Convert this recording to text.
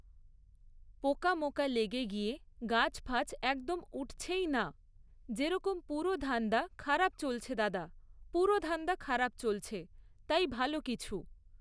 পোকা মোকা লেগে গিয়ে গাছ ফাছ একদম উঠছেই না, যেরকম পুরো ধান্দা খারাপ চলছে দাদা, পুরো ধান্দা খারাপ চলছে, তাই ভালো কিছু